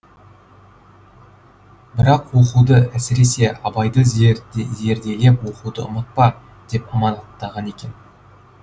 бірақ оқуды әсіресе абайды зерделеп оқуды ұмытпа деп аманаттаған екен